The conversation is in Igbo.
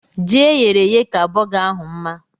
Ji eyere èyé ka burger ahụ mma